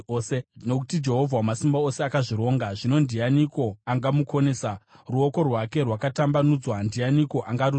Nokuti Jehovha Wamasimba Ose akazvironga zvino ndianiko angamukonesa? Ruoko rwake rwakatambanudzwa ndianiko angarudzora?